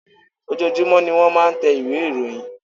Ojoojumọ ní wọ́n máa ń tẹ ìwé ìròyìn.